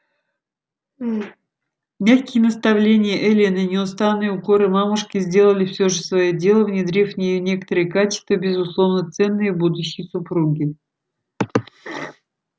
мягкие наставления эллин и неустанные укоры мамушки сделали все же своё дело внедрив в нее некоторые качества безусловно ценные в будущей супруге